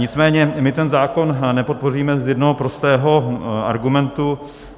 Nicméně my ten zákon nepodpoříme z jednoho prostého argumentu.